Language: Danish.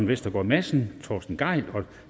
vestergaard madsen torsten gejl og